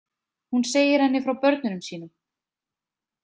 Hún segir henni frá börnunum sínum.